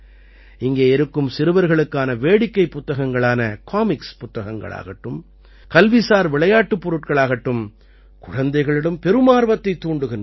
இங்கே இருக்கும் சிறுவர்களுக்கான வேடிக்கைப் புத்தகங்களான காமிக்ஸ் புத்தகங்களாகட்டும் கல்விசார் விளையாட்டுப் பொருட்களாகட்டும் குழந்தைகளிடம் பெரும் ஆர்வத்தைத் தூண்டுகின்றன